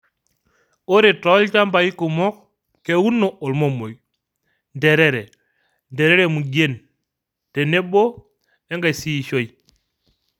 Ore tolchamabi kumok, keuno olmomoi, nterere, nterere mugien tenebo enkaisiishoi.